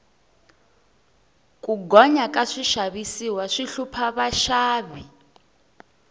ku gonya ka swixavisiwa swi hlupha vaxavi